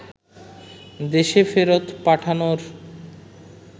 দেশে ফেরত পাঠানোর